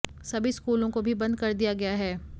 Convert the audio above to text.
सभी स्कूलों को भी बंद कर दिया गया है